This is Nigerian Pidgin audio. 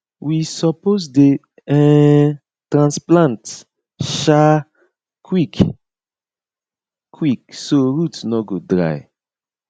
we suppose dey um transplant um quick quick so root no go dry